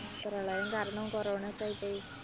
പ്രളയം കാരണം corona യൊക്കെയായിട്ട്